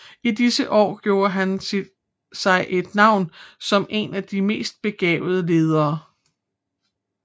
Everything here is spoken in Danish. I disse år gjorde han sig et navn som en af de mest begavede ledere